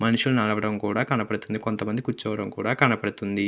మనుషులు నడువడం కూడా కనిపిస్తుంది కొంత మంది కురుచొని ఉండడం కూడా కనపడుతుంది.